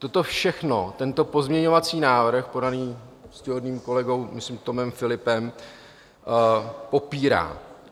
Toto všechno tento pozměňovací návrh podaný úctyhodným kolegou, myslím, Tomem Philippem, popírá.